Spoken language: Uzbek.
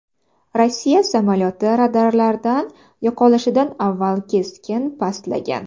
Rossiya samolyoti radarlardan yo‘qolishidan avval keskin pastlagan.